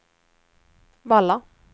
Valla